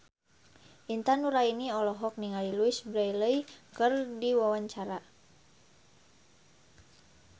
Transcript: Intan Nuraini olohok ningali Louise Brealey keur diwawancara